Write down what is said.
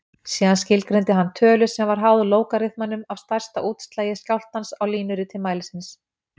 Síðan skilgreindi hann tölu sem var háð lógariþmanum af stærsta útslagi skjálftans á línuriti mælisins.